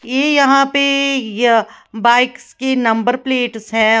ये यहां पे यह बाइक्स के नंबर प्लेट्स हैं औ--